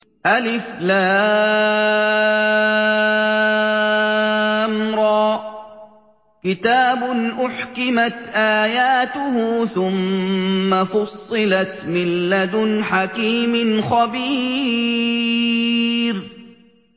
الر ۚ كِتَابٌ أُحْكِمَتْ آيَاتُهُ ثُمَّ فُصِّلَتْ مِن لَّدُنْ حَكِيمٍ خَبِيرٍ